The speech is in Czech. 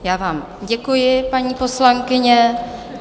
Já vám děkuji, paní poslankyně.